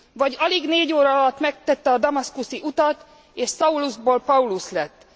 Vagy alig 4 óra alatt megtette a damaszkuszi utat és Saulusból Paulus lett.